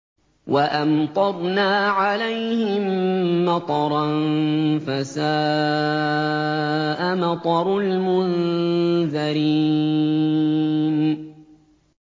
وَأَمْطَرْنَا عَلَيْهِم مَّطَرًا ۖ فَسَاءَ مَطَرُ الْمُنذَرِينَ